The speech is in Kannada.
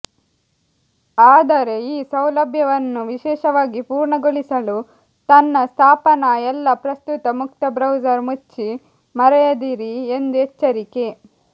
ಆದರೆ ಈ ಸೌಲಭ್ಯವನ್ನು ವಿಶೇಷವಾಗಿ ಪೂರ್ಣಗೊಳಿಸಲು ತನ್ನ ಸ್ಥಾಪನಾ ಎಲ್ಲಾ ಪ್ರಸ್ತುತ ಮುಕ್ತ ಬ್ರೌಸರ್ ಮುಚ್ಚಿ ಮರೆಯದಿರಿ ಎಂದು ಎಚ್ಚರಿಕೆ